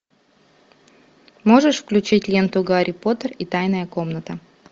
можешь включить ленту гарри поттер и тайная комната